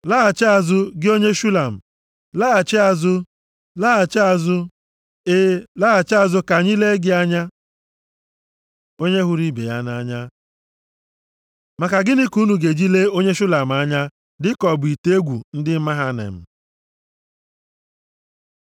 Laghachi azụ, gị onye Shulam, laghachi azụ; laghachi azụ, e, laghachi azụ ka anyị lee gị anya. Onye hụrụ ibe ya nʼanya Maka gịnị ka unu ga-eji lee onye Shulam anya dịka ọ bụ ite egwu ndị Mahanaim?